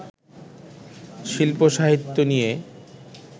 শিল্প-সাহিত্য নিয়ে